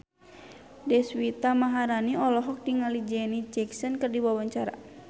Deswita Maharani olohok ningali Janet Jackson keur diwawancara